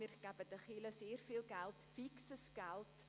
Wir geben den Kirchen sehr viel Geld, fixes Geld.